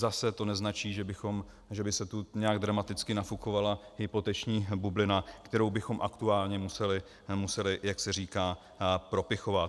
Zase to neznačí, že by se tu nějak dramaticky nafukovala hypoteční bublina, kterou bychom aktuálně museli, jak se říká, propichovat.